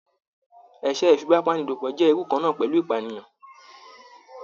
Èṣẹ̀ ìfipàbàniló jẹ́ irú kan náà pẹ̀lú ìpànìyàn